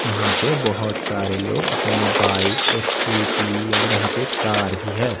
यहां पे बहोत सारे लोग अपने बाइक और स्कूटी और यहां पे कार भी है।